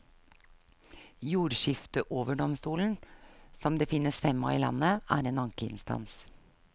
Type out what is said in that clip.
Jordskifteoverdomstolen, som det finnes fem av i landet, er en ankeinstans.